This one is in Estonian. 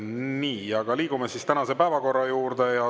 Nii, liigume tänase päevakorra juurde.